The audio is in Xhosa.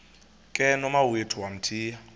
ke nomawethu wamthiya